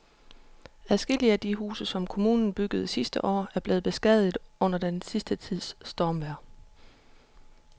Adskillige af de huse, som kommunen byggede sidste år, er blevet beskadiget under den sidste tids stormvejr.